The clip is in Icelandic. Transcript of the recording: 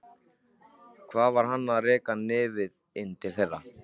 Hvað var hann að reka nefið inn til þeirra?